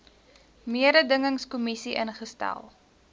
mededingings kommissie ingestel